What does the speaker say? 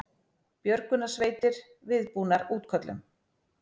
Björgunarsveitir viðbúnar útköllum